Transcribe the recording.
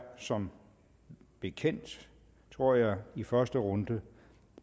som bekendt i første runde